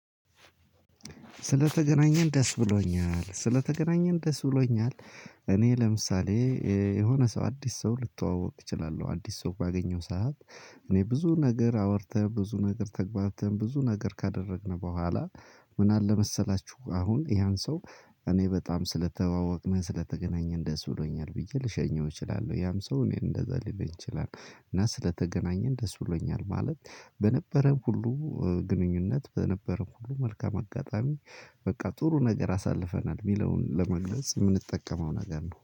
ስለተገናኘን ደስ ብሎኛል ስለተገናኘን ደስ ብሎኛል። እኔ ለምሳሌ የሆነ ሰው አዲስ ሰው ልተዋወቅ እችላለሁ አዲስ ሰው ባገኘው ሰዓት። እኔ ብዙ ነገር አውርተን ብዙ ነገር ተግባብተን ብዙ ነገር ካደረግን በኋላ። ምን አለ መሰላችሁ አሁን ያን ሰው? እኔ በጣም ስለተዋወቅን ስለተገናኘን ደስ ብሎኛል ብዬ ልሸኘው እችላለሁ ያም ሰው እኔን እንደዛ ሊለኝ ይችላል። እና ስለተገናኘን ደስ ብሎኛል ማለት በነበረን ሁሉ ግንኙነት በነበረው ሁሉ መልካም አጋጣሚ። በቃ ጥሩ ነገር አሳልፈናል ሚለውን ለመግለጽ የምንጠቀመው ነገር ነው